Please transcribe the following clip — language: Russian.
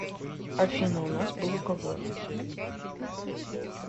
афина у нас был уговор